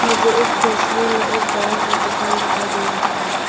मुझे इस तस्वीर में एक बड़ा सा दुकान दिखाई दे रहा है।